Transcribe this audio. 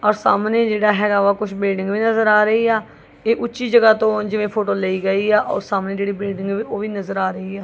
ਔਰ ਸਾਹਮਣੇ ਜਿਹੜਾ ਹੈਗਾ ਕੁਝ ਬਿਲਡਿੰਗ ਵੀ ਨਜ਼ਰ ਆ ਰਹੀ ਆ ਇਹ ਉੱਚੀ ਜਗ੍ਹਾ ਤੋਂ ਜਿਵੇਂ ਫੋਟੋ ਲਈ ਗਈ ਆ ਉਹ ਸਾਹਮਣੇ ਜਿਹੜੀ ਬਿਲਡਿੰਗ ਉਹ ਵੀ ਨਜ਼ਰ ਆ ਰਹੀ ਆ।